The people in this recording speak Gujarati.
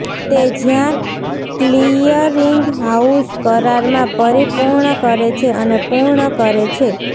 તે જ્યાં ક્લીયરિંગહાઉસ કરારમાં પરિપૂર્ણ કરે છે અને પૂર્ણ કરે છે